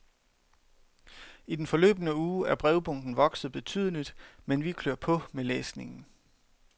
I den forløbne uge er brevbunken vokset betydeligt, men vi klør på med læsningen.